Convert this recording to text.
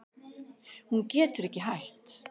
Hún getur ekki hætt.